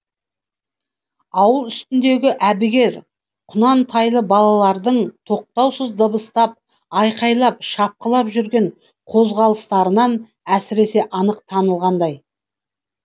ауыл үстіндегі әбігер құнан тайлы балалардың тоқтаусыз дабыстап айқайлап шапқылап жүрген қозғалыстарынан әсіресе анық танылғандай